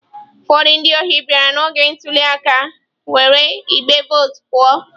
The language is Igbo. Ụfọdụ ndị ohi bịara n'oge ntuli aka were igbe vootu pụọ.